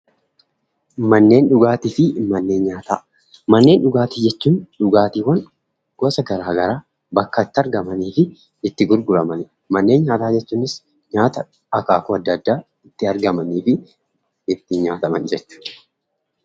Mannen dhugaattifi mannen nyaataa. Mannen dhugaatti jechuun dhugaattiwwaan goosa gara garaa bakkabitti argamanifinitti gurguraaman jechuudha. Mannen nyaataa jechuunis nyaataa akaakku adda addaa itti argamanifi itti nyaattamaan jechuudha.